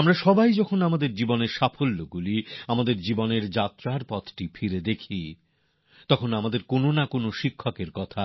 আমরা সবাই যখন আমাদের জীবনের সফলতাগুলি নিজেদের জীবন যাত্রায় খতিয়ে দেখি তখন আমাদের কোনও না কোনও শিক্ষকের কথা